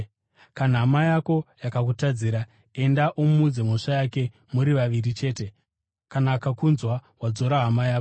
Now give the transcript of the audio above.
“Kana hama yako yakutadzira enda umuudze mhosva yake, muri vaviri chete. Kana akakunzwa wadzora hama yako.